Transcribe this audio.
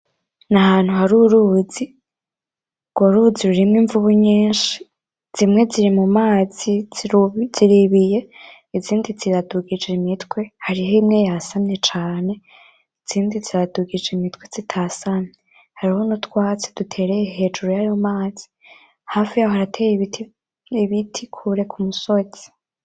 Nahantu haruruzi, urwo ruzi rurimwo imvubu nyinshi zimwe ziri mumazi ziribiye izindi ziradugije imitwe. Hariho imwe yasamye cane izindi ziradugijwe imitwe zitasamye, hariho nutwatsi dutereye hejuru yayo mazi hafi yaho harateye ibitri kure kumusozi.